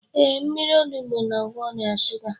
Ee, mmírí onugbu na-agwọ ọrịa shuga